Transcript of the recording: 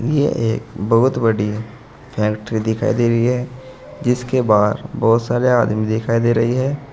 यह एक बहुत बड़ी फैक्ट्री दिखाई दे रही है जिसके बाहर बहुत सारे आदमी दिखाई दे रही है।